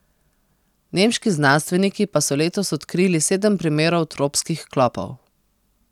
Nemški znanstveniki pa so letos odkrili sedem primerov tropskih klopov.